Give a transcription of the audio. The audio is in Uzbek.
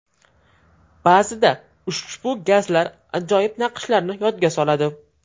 Ba’zida ushbu gazlar ajoyib naqshlarni yodga soladi.